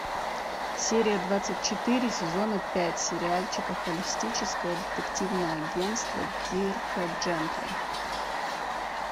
серия двадцать четыре сезона пять сериальчика холистическое детективное агентство дирка джентли